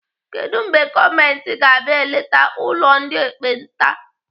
Kedụ mgbe gọọmenti ga-abịa eleta ụlọ ndị ekpenta?